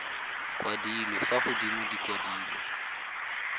kwadilwe fa godimo di kwadilwe